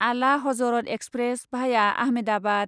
आला हजरत एक्सप्रेस भाया आहमेदाबाद